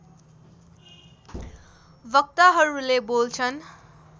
वक्ताहरूले बोल्छन्